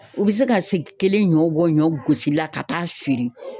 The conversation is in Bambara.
U bɛ se ka se kelen ɲɔ bɔ ɲɔ gosili la ka taa feere